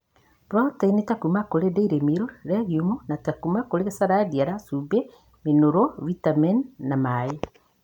Proteini ta kuma kũrĩ dairy miru, legiumu ta kuma kũrĩ calliandra, cumbĩ, minũrũ vitameni na maĩĩ